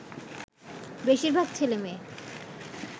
বেশিরভাগ ছেলেমেয়ে